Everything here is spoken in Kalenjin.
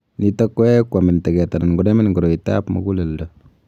Nitok koyae kwamin tag'et anan konamin koroitap mug�leldo